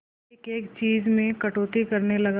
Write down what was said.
एक एक चीज में कटौती करने लगा